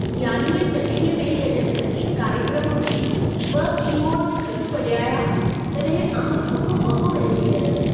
यानीअ चैन्नईअ में जॾहिं संगीत कार्यक्रम में 2 की-बोर्ड गॾु वॼाया, तॾहिं आउं हको ॿको रहिजी वियसि।